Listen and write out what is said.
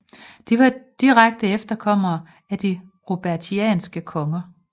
De var direkte efterkommere af de Robertianske konger